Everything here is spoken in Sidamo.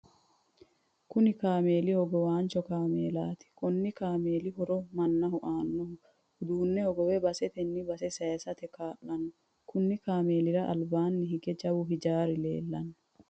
Kunni kaameeli hogowancho kaameelaati. Konni kameelu horo mannaho ayirino uduune hogowe basetenni base sayisate kaa'lano. kunni kaameelira albaanni hige jawu hijaari leelano.